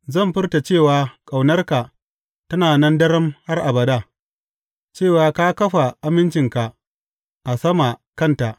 Zan furta cewa ƙaunarka tana nan daram har abada, cewa ka kafa amincinka a sama kanta.